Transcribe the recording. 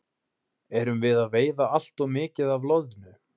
Erum við að veiða allt of mikið af loðnu?